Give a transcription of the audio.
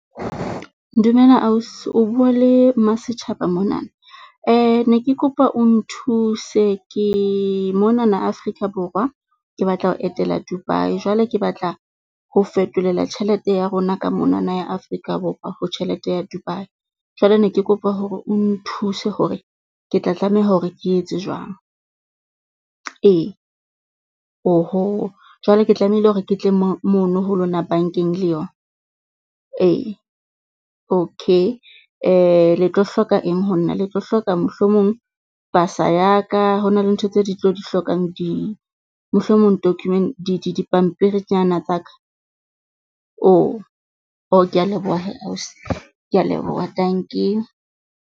Dumela ausi o bua le Masetjhaba monana, ne ke kopa o nthuse ke monana Afrika Borwa. Ke batla ho etela Dubai, jwale ke batla ho fetolela tjhelete ya rona ka monana ya Afrika Borwa ho tjhelete ya Dubai. Jwale ne ke kopa hore o nthuse hore ke tla tlameha hore ke etse jwang. Ee, jwale ke tlamehile hore ke tle mo mono ho lona bankeng le yona? Ee, okay le tlo hloka eng ho nna? Le tlo hloka mohlomong pasa ya ka, ho na le ntho tse di tlo di hlokang di mohlomong dipampiri tsena tsa ka? kea leboha hee ausi. Kea leboha, dankie.